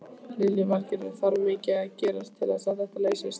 Lillý Valgerður: Þarf mikið að gerast til að þetta leysist?